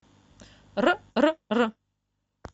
р р р